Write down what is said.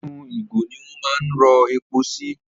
Inú ìgò ni wọ́n máa ń rọ epo sí.